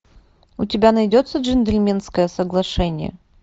у тебя найдется джентльменское соглашение